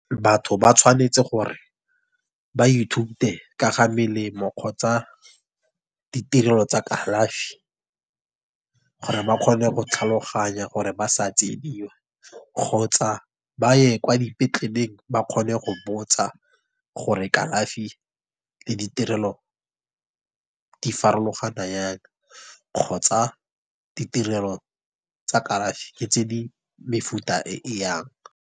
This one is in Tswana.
Batho ba tshwanetse gore ba ithute ka ga melemo, kgotsa ditirelo tsa kalafi. Gore ba kgone go tlhaloganya gore ba sa tsiediwa. Kgotsa ba ye kwa dipetleleng, ba kgone go botsa gore kalafi, le ditirelo, di farologana jang, kgotsa ditirelo tsa kalafi tse di mefuta e, e yang.